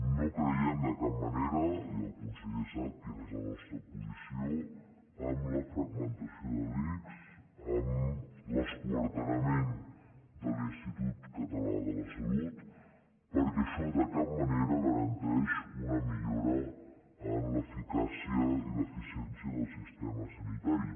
no creiem de cap manera i el conseller sap quina és la nostra posició en la fragmentació de l’ics amb l’esquarterament de l’institut català de la salut perquè això de cap manera garanteix una millora en l’eficàcia i l’eficiència del sistema sanitari